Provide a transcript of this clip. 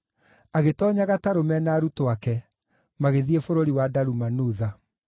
agĩtoonya gatarũ me na arutwo ake, magĩthiĩ bũrũri wa Dalumanutha.